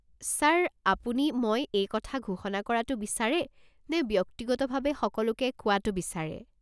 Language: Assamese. ছাৰ, আপুনি মই এই কথা ঘোষণা কৰাটো বিচাৰে নে ব্যক্তিগতভাৱে সকলোকে কোৱাটো বিচাৰে?